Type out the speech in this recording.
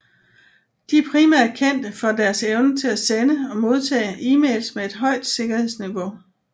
De er primært kendte for deres evne til sende og modtage emails med et højt sikkerhedsniveau